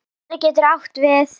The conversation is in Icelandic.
Vinstri getur átt við